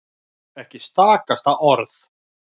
Ekki stakasta orð.